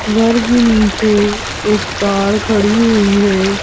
घर के नीचे एक कार खड़ी हुई है।